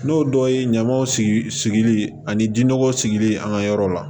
N'o dɔ ye ɲamaw sigili ani ji nɔgɔ sigili an ka yɔrɔ la